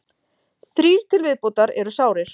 Þrír til viðbótar eru sárir